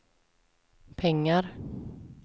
pengar